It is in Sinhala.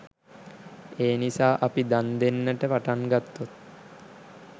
එනිසා අපි දන් දෙන්නට පටන් ගත්තොත්